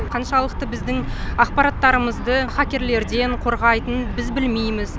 қаншалықты біздің ақпараттарымызды хакерлерден қорғайтынын біз білмейміз